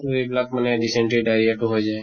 তʼ এইবিলাক মানে dysentery diarrhea টো হৈ যায়।